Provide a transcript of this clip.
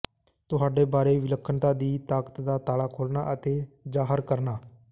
ਤੁਹਾਡੇ ਬਾਰੇ ਵਿਲੱਖਣਤਾ ਦੀ ਤਾਕਤ ਦਾ ਤਾਲਾ ਖੋਲ੍ਹਣਾ ਅਤੇ ਜ਼ਾਹਰ ਕਰਨਾ